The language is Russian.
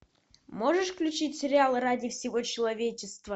можешь включить сериал ради всего человечества